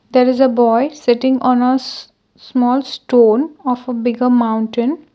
there is a boy sitting on a shh small stone of a bigger mountain.